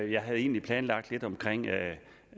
jeg havde egentlig planlagt lidt om